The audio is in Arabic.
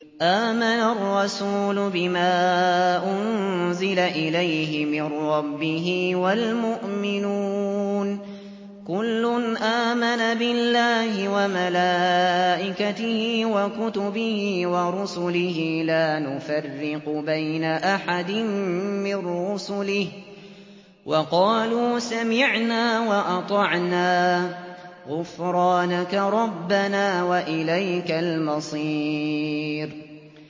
آمَنَ الرَّسُولُ بِمَا أُنزِلَ إِلَيْهِ مِن رَّبِّهِ وَالْمُؤْمِنُونَ ۚ كُلٌّ آمَنَ بِاللَّهِ وَمَلَائِكَتِهِ وَكُتُبِهِ وَرُسُلِهِ لَا نُفَرِّقُ بَيْنَ أَحَدٍ مِّن رُّسُلِهِ ۚ وَقَالُوا سَمِعْنَا وَأَطَعْنَا ۖ غُفْرَانَكَ رَبَّنَا وَإِلَيْكَ الْمَصِيرُ